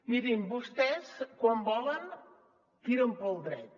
mirin vostès quan volen tiren pel dret